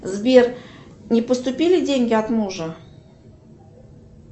сбер не поступили деньги от мужа